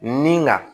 Nin ka